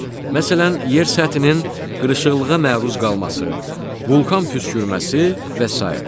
Məsələn, yer səthinin qırışıqlığa məruz qalması, vulkan püskürməsi və sairə.